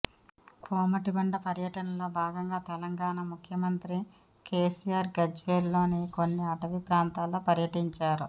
కోమటిబండ పర్యటనలో భాగంగా తెలంగాణా ముఖ్యమంత్రి కేసీఆర్ గజ్వేల్ లోని కొన్ని ఆటవీ ప్రాంతాల్లో పర్యటించారు